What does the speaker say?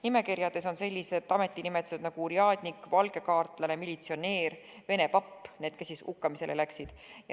Nimekirjades on sellised ametinimetused nagu urjadnik, valgekaartlane, militsionäär, vene papp – need, kes siis hukkamisele läksid.